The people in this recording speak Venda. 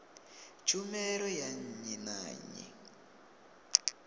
tshumelo ya nnyi na nnyi